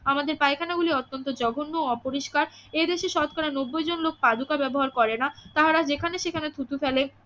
আমাদের পায়খানা গুলি অত্যন্ত জঘন্য ও অপরিস্কার এ দেশে শতকরা নব্বই জন লোক পাদুকা ব্যবহার করেনা তাহারা যেখানে সেখানে থুতু ফেলে